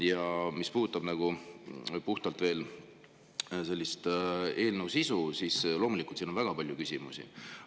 Ja mis puudutab puhtalt veel eelnõu sisu, siis loomulikult, siin on väga palju küsimusi.